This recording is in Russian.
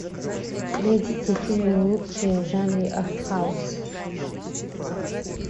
найдите фильмы лучшие в жанре артхаус